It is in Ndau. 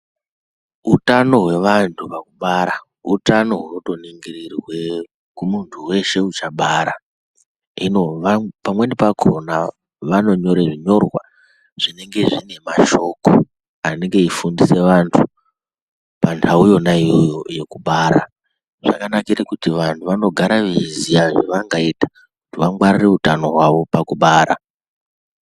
Utano hwevanhu pakubara, utano hunotoningirirwe kumunhu weshe uchatobara, hino pamweni pakhona vanonyora zvinyorwa zvinenge zvine mashoko anenge eifundise vantu panhau yona iyoyo yekubara ,zvakanikre kuti vanhu vanogara veiziya kuti vangwarire utano hwavo pakubara.